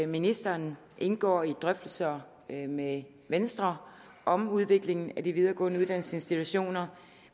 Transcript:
ministeren indgår i drøftelser med med venstre om udviklingen af de videregående uddannelsesinstitutioner